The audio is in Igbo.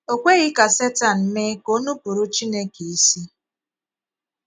O kwèghí ka Setan mee ka o nupụ̀rụ̀ Chineke ísì.